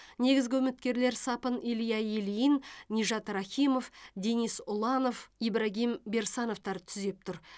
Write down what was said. негізгі үміткерлер сапын илья ильин нижат рахимов денис ұланов ибрагим берсановтар түзеп тұр